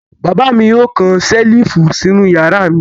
Bàbá mi yóò kan ṣẹ́lífù sínú ìyàrá mi.